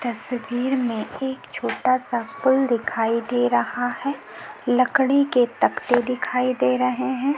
तस्वीर में एक छोटा सा पुल दिखाई दे रहा है लकड़ी के तकते दिखाई दे रहै हैं।